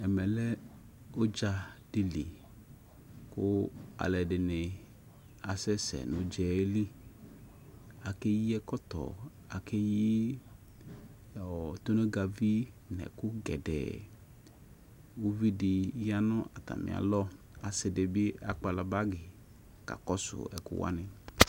Ɛmɛ lɛ udzadɩ lɩ kʊ alʊɛdɩnɩ asɛsɛ nʊ ʊdzaɛ lɩ akeyi ɛkɔtɔ akeyi tonogavi nʊ ɛkʊ gɛdɛ ʊvɩdɩ yanʊ atamɩalɔ ɔsɩdɩbɩ akpala bagi kakɔsʊ ɛkʊ wanɩ